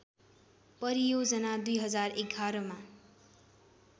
परियोजना २०११ मा